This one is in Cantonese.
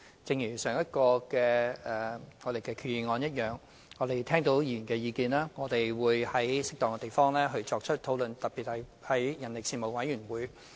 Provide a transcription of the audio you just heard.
一如上一項決議案，我們聽到議員的意見，並會在適當的場合作出討論，特別是在相關事務委員會。